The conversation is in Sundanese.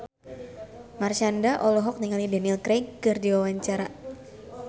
Marshanda olohok ningali Daniel Craig keur diwawancara